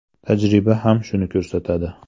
Tajriba ham shuni ko‘rsatadi.